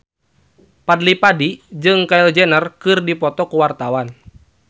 Fadly Padi jeung Kylie Jenner keur dipoto ku wartawan